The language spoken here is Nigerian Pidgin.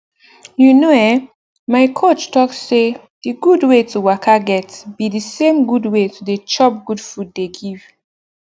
you know eh my coach talk say d gud wey to waka get be the same gud wey to dey chop good food dey give